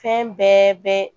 Fɛn bɛɛ bɛ